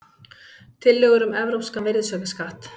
Tillögur um evrópskan virðisaukaskatt